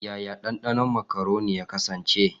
Yaya dandano makaroni ya kasance?